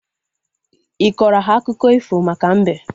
Ịkọrọ ha akụkọ ifo maka mbe?